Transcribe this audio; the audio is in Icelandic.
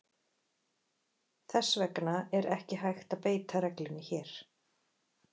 Þess vegna er ekki hægt að beita reglunni hér.